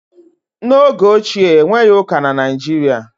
n'oge ochie, e nweghị ụka na Nigeria